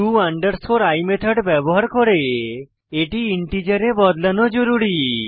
to i method ব্যবহার করে এটি ইন্টিজারে বদলানো জরুরী